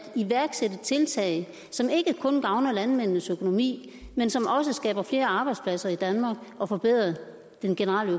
iværksætte tiltag som ikke kun gavner landmændenes økonomi men som også skaber flere arbejdspladser i danmark og forbedrer den generelle